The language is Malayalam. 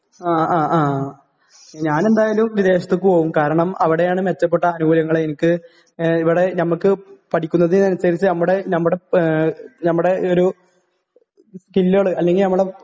ഞാനെന്തായാലും വിദേശത്തേക്ക് പോകും, കാരണം അവിടെയാണ് മെച്ചപ്പെട്ട ആനുകൂല്യങ്ങൾ..എനിക്ക് ഇവിടെ ..ഞമ്മക്ക് പഠിക്കുന്നതിനനുസരിച്ച് നമ്മുടെ, നമ്മുടെ....,നമ്മുടെ ഒരു സ്കില്ലുകള് അല്ലെങ്കി ഒരു